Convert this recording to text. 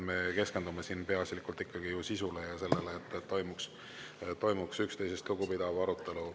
Me keskendume siin peaasjalikult ikkagi sisule ja sellele, et toimuks üksteisest lugupidav arutelu.